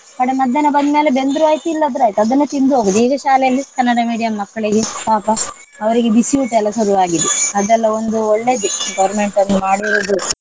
ಕಡೆ ಮಧ್ಯಾಹ್ನ ಬಂದ್ ಮೇಲೆ ಬೆಂದ್ರು ಆಯ್ತ್ ಇಲ್ಲಾದ್ರೆ ಆಯ್ತ್ ಅದನ್ನೇ ತಿಂದು ಹೋಗುದು. ಈಗ ಶಾಲೆಯಲ್ಲಿ ಕನ್ನಡ medium ಮಕ್ಕಳಿಗೆ ಪಾಪ ಅವರಿಗೆ ಬಿಸಿ ಊಟ ಎಲ್ಲ ಶುರು ಆಗಿದೆ. ಅದೆಲ್ಲ ಒಂದು ಒಳ್ಳೇದೇ government ಅದು ಮಾಡಿರುದು.